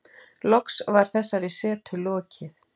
Loks var þessari setu lokið.